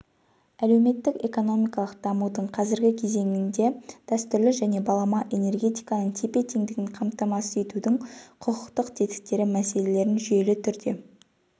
әлеуметтік-экономикалық дамудың қазіргі кезеңінде дәстүрлі және балама энергетиканың тепе-теңдігін қамтамасыз етудің құқықтық тетіктері мәселелерін жүйелі түрде